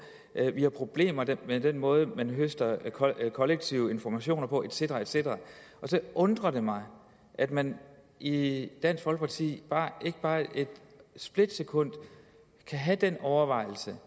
vi har problemer med den måde man høster kollektive informationer på et cetera et cetera så undrer det mig at man i dansk folkeparti ikke bare et splitsekund kan have den overvejelse